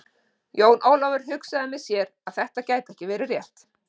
Jón Ólafur hugsaði með sér að það gæti ekki verið rétt.